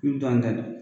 I bi don an da la